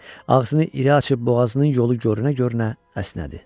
ağzını iri açıb boğazının yolu görə-görə əsnədi.